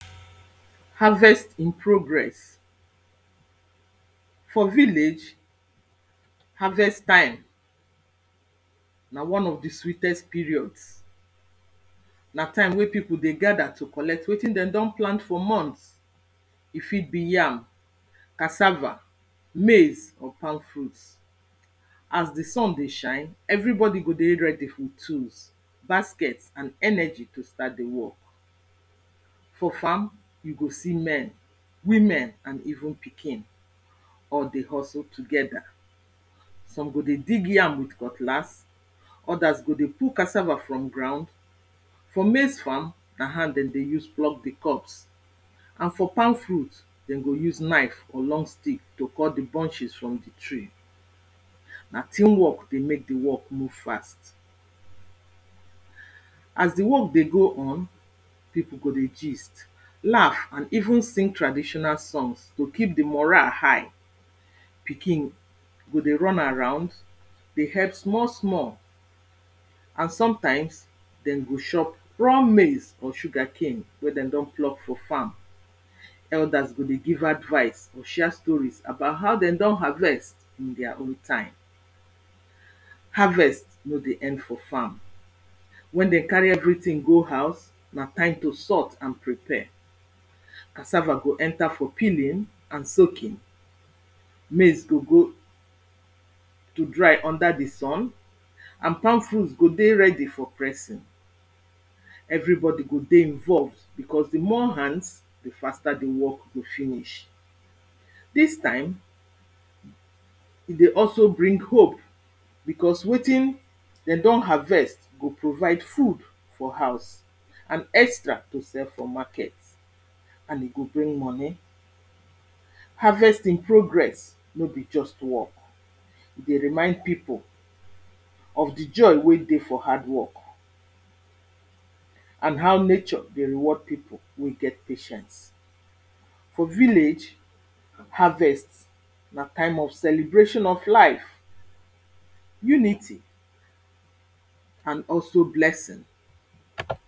harvest in progress for vilage harvest time na one of di sweetest periods na taim wey pipu dey gather to collect wetin dem don plant for montrhs e fit be yam, cassava, maize, or palm fruit as di sun dey shine, everybodi go dey ready with e tool, basket and energy to start di work for farm, you go see men, women and even pikin all dey hustle togeda some go dey dig yam with cutlas others go dey pull casava from ground for maize farm, na hand dem dey use plug di cobs and for palm fruit na knife, dem go use knife or long stick to cut di brunches from di tree na team work dey make di work move fast as di work dey go on pipu go dey gist, laugh and even sing traditional songs to keep di mora high pikin go dey run around dey help small small and sometimes dem go chop raw maize or sugacane wen dem don plug for farm elders go dey give advise or share storis about how dem don harvest in their own time harvest no dey end for farm, wen den cary everytin go house, na time to salt and prepare casava go enter for peeling and soaking maize go go to dry under di sun and palm fruit go dey ready for pressing everi bodi go dey involve bicos di more hands, di faster di work go finish dis time e dey also bring hope bicos wetin dem don harvest go provide food for hause and extra to sell for market and e go bring money harvest in progress no be just work, e dey remind pipu of di joy wey dey for hardwork and how nature dey reward pipu wey get patience for vilage, harvest na time of celcbration of life unity and also blessing